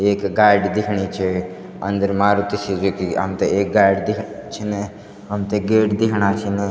एक गाड़ी दिखणी चअन्दर मारुती सुजुकी हमथे एक गाडी दिख छिन हमथे गेट दिखणा छिन।